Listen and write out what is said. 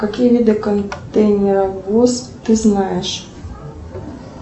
какие виды контейнеровоз ты знаешь